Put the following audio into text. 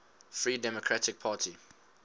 free democratic party